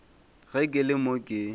ge ke le mo ke